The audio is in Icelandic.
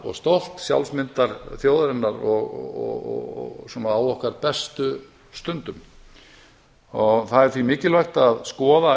og stolt sjálfsmyndar þjóðarinnar og á okkar bestu stundum það er því mikilvægt að skoða